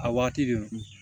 A waati de